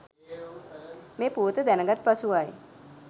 මේ පුවත දැනගත් පසුවයි.